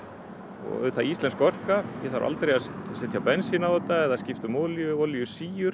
og auðvitað íslensk orka ég þarf aldrei að setja bensín á þetta eða skipta um olíu olíu